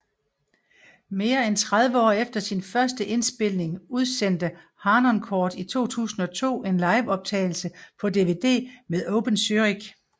Mere end tredive år efter sin første indspilning udsendte Harnoncourt i 2002 en liveoptagelse på DVD med Oper Zürich